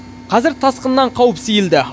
қазір тасқыннан қауіп сейілді